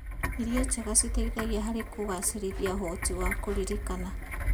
Irio njega citeithagia harĩ kũgacĩrithia ũhoti wa kũririkana.